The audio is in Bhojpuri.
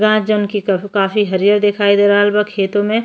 गाँछ जोवन की कहबो काफी हरियर दिखाई दे रहल बा खेतो में।